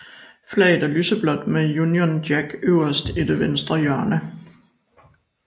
Flaget er lyseblåt med Union Jack øverst i det venstre hjørne